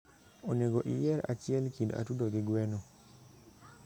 onego iyier hiel kind atudo gi gwen